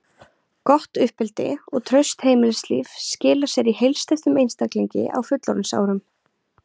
Gott uppeldi og traust heimilislíf skila sér í heilsteyptum einstaklingi á fullorðinsárum.